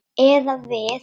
Eða við.